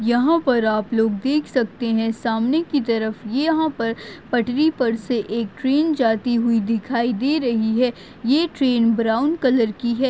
यहाँ पर आप देख सकते है सामने की तरफ यहाँ पर पटरी पर से एक ट्रेन जाती हुई दिखाई दे रही है यह ट्रेन ब्राउन कलर की है।